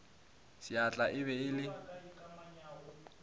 sehla e be e le